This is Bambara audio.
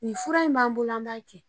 Nin fura in b'an bolo an b'a kɛ